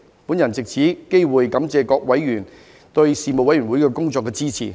我藉此機會感謝各委員對事務委員會工作的支持。